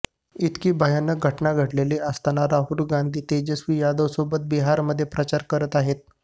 इतकी भयानक घटना घडलेली असताना राहुल गांधी तेजस्वी यादव सोबत बिहारमध्ये प्रचार करत आहेत